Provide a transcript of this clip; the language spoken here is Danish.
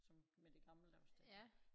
Som med det gammeldags det